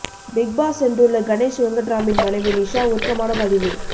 big boss சென்றுள்ள கணேஷ் வெங்கட்ராமின் மனைவி நிஷா உருக்கமான பதிவு